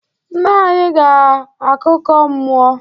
Nna anyi ga akuko mmuo